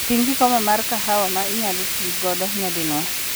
Ting' kikombe mar kahawa ma inyalo ti godo nyadinwoya.